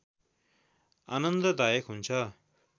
आनन्द दायक हुन्छ